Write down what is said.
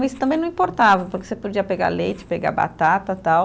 Mas também não importava, porque você podia pegar leite, pegar batata, tal.